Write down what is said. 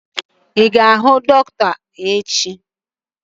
Ị ga-aga ihuu dọkịta echi?